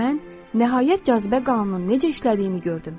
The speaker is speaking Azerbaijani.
Mən nəhayət cazibə qanununun necə işlədiyini gördüm.